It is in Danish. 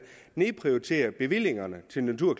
nedprioriterer bevillingerne til natur og